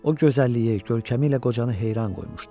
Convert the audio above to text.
O gözəlliyi, görkəmi ilə qocanı heyran qoymuşdu.